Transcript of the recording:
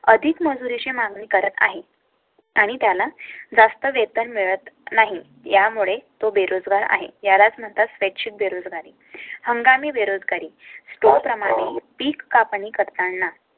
अधिक मजुरी ची मागणी करत आहे. आणि त्याला जास्त वेतन मिळत नाही. यामुळे तो बेरोजगार आहे. यालाच नंतर स्वच्छ बेरोजगारी, हंगामी बेरोजगारी स्टोर प्रमाणे पीक कापणी करताना.